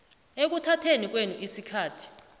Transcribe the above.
ekuthatheni kwenu isikhathi